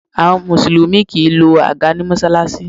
Àwọn Mùsùlùmí kì í lọ àga ní Mọ́ṣáláṣí